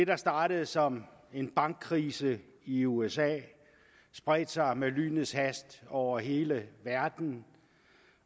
der startede som en bankkrise i usa spredte sig med lynets hast over hele verden